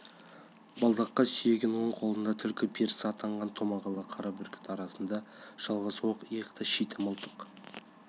балдаққа сүйеген оң қолында түлкі перісі атанған томағалы қара бүркіт арқасында жалғыз оқ аяқты шиті мылтық